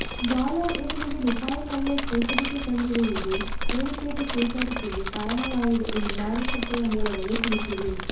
dollar ಎದುರಿಗೆ ರೂಪಾಯಿ ಮೌಲ್ಯ ಚೇತರಿಕೆ ಕಂಡಿರುವುದೂ ಶೇರುಪೇಟೆ ಚೇತರಿಕೆಗೆ ಕಾರಣವಾಗಿದೆ ಎಂದು ಮಾರುಕಟ್ಟೆಯ ಮೂಲಗಳು ತಿಳಿಸಿವೆ